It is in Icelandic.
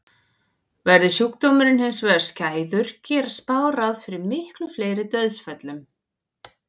Verði sjúkdómurinn hins vegar skæður gera spár ráð fyrir miklu fleiri dauðsföllum.